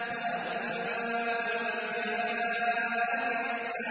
وَأَمَّا مَن جَاءَكَ يَسْعَىٰ